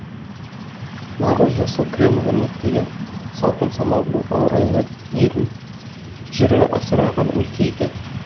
нағыз жасыл кілем өрнектеген салқын самал баурайлы елін жері асыраған өлке екен